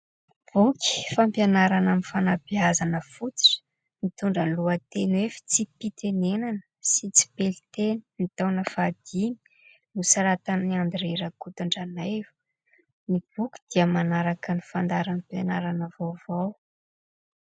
Boky fampianarana amin'ny fanabeazana fototra mitondra ny lohateny hoe : "Fitsipi-pitenenana sy tsipelin-teny, ny taona fahadimy". Nosoratan'i《André》Rakotondranaivo. Ny boky dia manaraka ny fandaharam-pianarana vaovao.